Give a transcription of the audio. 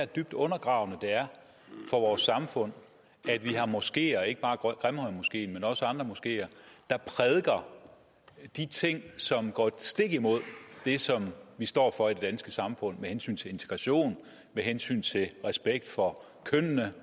dybt undergravende det er for vores samfund at vi har moskeer ikke bare grimhøjmoskeen men også andre moskeer der prædiker de ting som går stik imod det som vi står for i det danske samfund med hensyn til integration med hensyn til respekt for kønnene